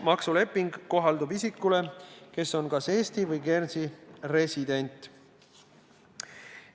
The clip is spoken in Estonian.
Maksuleping kohaldub isikule, kes on kas Eesti või Guernsey resident.